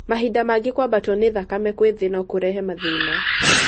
Mahinda mangĩ kwabato nĩ thakame kwĩ thĩ no kũrehe mathĩna.